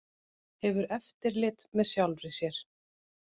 Hefur eftirlit með sjálfri sér